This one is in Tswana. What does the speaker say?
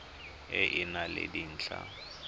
e e nang le dintlha